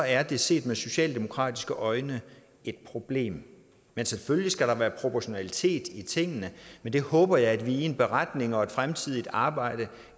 er det set med socialdemokratiske øjne et problem men selvfølgelig skal der være proportionalitet i tingene men det håber jeg at vi i en beretning og i et fremtidigt arbejde